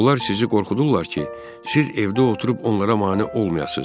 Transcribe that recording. Onlar sizi qorxudurlar ki, siz evdə oturub onlara mane olmayasız.